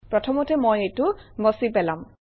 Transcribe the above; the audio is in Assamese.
প্ৰথমতে মই এইটো মচি পেলাম